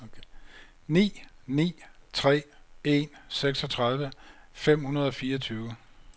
ni ni tre en seksogtredive fem hundrede og fireogtyve